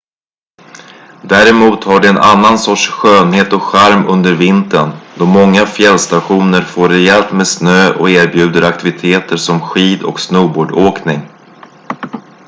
däremot har de en annan sorts skönhet och charm under vintern då många fjällstationer får rejält med snö och erbjuder aktiviteter som skid- och snowboardåkning